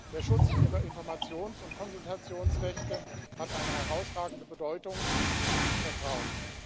Der Schutz ihrer Informations und Konsultationsrechte hat eine herausragende Bedeutung und gibt Vertrauen.